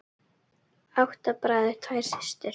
Þar hefur verið eymd síðan.